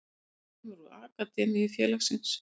Hann kemur úr akademíu félagsins.